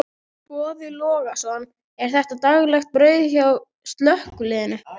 Boði Logason: Er þetta daglegt brauð hjá slökkviliðinu?